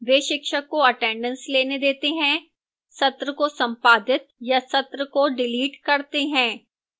वे शिक्षक को attendance लेने देते हैं सत्र को संपादित या सत्र को डिलीट करते हैं